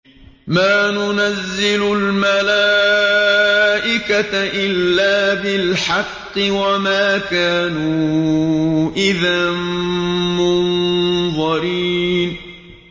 مَا نُنَزِّلُ الْمَلَائِكَةَ إِلَّا بِالْحَقِّ وَمَا كَانُوا إِذًا مُّنظَرِينَ